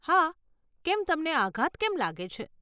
હા, કેમ તમને આઘાત કેમ લાગે છે?